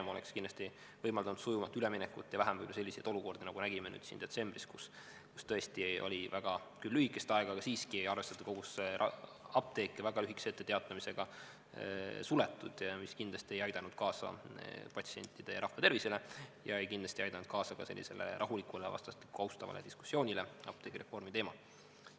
See oleks kindlasti võimaldanud sujuvamat üleminekut ja vähem võib-olla selliseid olukordi, nagu nägime nüüd detsembris, kui tõesti oli küll lühikest aega, aga siiski arvestatav kogus apteeke väga lühikese etteteatamisajaga suletud, mis kindlasti ei aidanud kaasa patsientide ja rahva tervisele ning kindlasti ei aidanud kaasa rahulikule ja vastastikku austavale diskussioonile apteegireformi teemal.